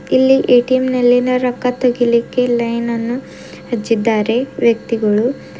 ಇಲ್ಲಿ ಎ_ಟಿ_ಎಂ ನಲ್ಲಿನ ರೊಕ್ಕ ತೆಗೀಲಿಕ್ಕೆ ಲೈನನ್ನು ಹಚ್ಚಿದ್ದಾರೆ ವ್ಯಕ್ತಿಗಳು.